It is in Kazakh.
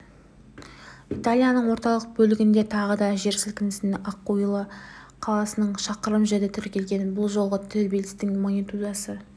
италияның орталық бөлігінде тағы да жер сілкінді акуила қаласынан шақырым жерде тіркелген бұл жолғы тербелістің магнитудасы